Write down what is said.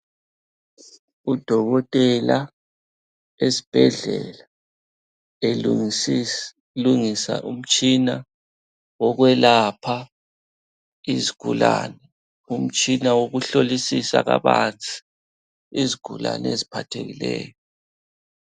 Udokotela esibhedlela elungisa umtshina wokwelapha izigulane. Umtshina wokuhlolisisa kabanzi izigulane eziphathekileyo.